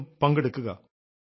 നിങ്ങളും ഇന്നുതന്നെ പങ്കെടുക്കുക